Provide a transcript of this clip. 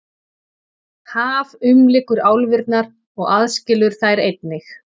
Haf umlykur álfurnar og aðskilur þær einnig.